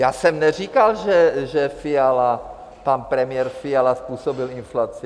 Já jsem neříkal, že Fiala, pan premiér Fiala způsobil inflaci.